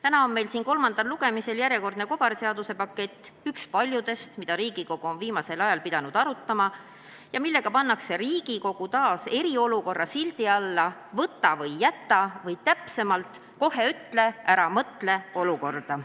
Täna on meil siin kolmandal lugemisel järjekordne kobarseaduse pakett, üks paljudest, mida Riigikogu on viimasel ajal pidanud arutama ja millega pannakse Riigikogu taas tegutsema eriolukorra sildi all, "võta või jäta" või täpsemalt "kohe ütle, ära mõtle" olukorda.